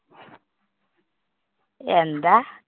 എന്താ?